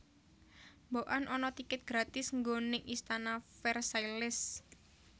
Mbok an ana tiket gratis nggo ning Istana Versailles